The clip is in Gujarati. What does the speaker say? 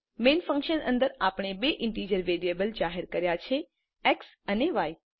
મેઈન ફન્કશન અંદર આપણે બે ઈન્ટીજર વેરિયેબલ જાહેર કર્યા છે એક્સ અને ય